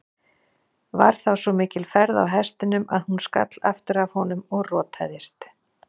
Var þá svo mikil ferð á hestinum að hún skall aftur af honum og rotaðist.